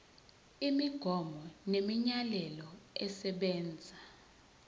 imigomo nemiyalelo esebenza